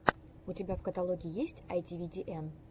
у тебя в каталоге есть айтивидиэн